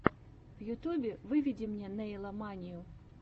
в ютубе выведи мне нэйла манию